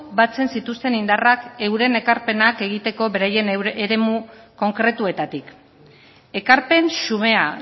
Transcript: batzen zituzten indarrak euren ekarpenak egiteko beraien eremu konkretuetatik ekarpen xumea